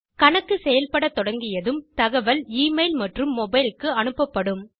கணக்கு செயல்பட தொடங்கியதும் தகவல் எமெயில் மற்றும் மொபைல் க்கு அனுப்பப்படும்